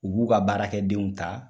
U b'u ka baarakɛdenw ta.